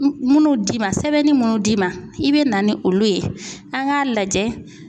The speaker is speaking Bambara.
Munnu d'i ma sɛbɛnni munnu d'i ma i bɛ na ni olu ye an k'a lajɛ.